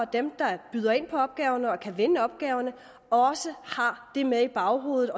dem der byder ind på opgaverne og kan vinde opgaverne også har det med i baghovedet